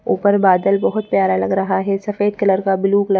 ऊपर बादल बहुत प्यारा लग रहा है सफेद कलर का ब्लू कलर --